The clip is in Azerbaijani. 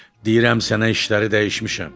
Deyirəm sənə işləri dəyişmişəm.